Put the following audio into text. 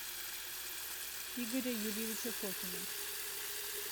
игоря юрьевича фокина